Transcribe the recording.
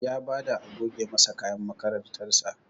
Ya bada a goge masa kayan makarantar sa